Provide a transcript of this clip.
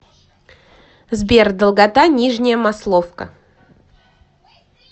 сбер долгота нижняя масловка